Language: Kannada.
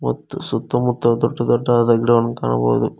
ಮತ್ತು ಸುತ್ತ ಮುತ್ತ ದೊಡ್ಡ ದೊಡ್ಡದಾದ ಗಿಡವನ್ನು ಕಾಣಬಹುದು.